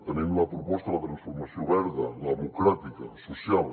tenim la proposta de la transformació verda democràtica social